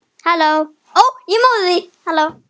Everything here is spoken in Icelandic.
Eða er slíkt orð til?